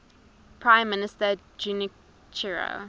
prime minister junichiro